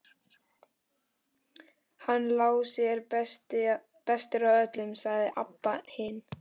Hann Lási er bestur af öllum, sagði Abba hin.